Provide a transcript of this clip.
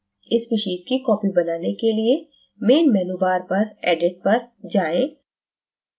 species की copy बनाने के लिए main menu bar पर edit पर जाएं